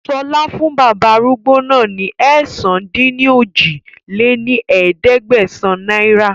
Sọlá fún bàbá arúgbó náà ni ẹ̀sán-dín-ní-ojì lé ní ẹ̀ẹ́dẹ́gbẹ́sán náírà